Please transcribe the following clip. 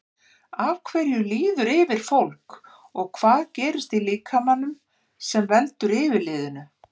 Af hverju líður yfir fólk og hvað gerist í líkamanum sem veldur yfirliðinu?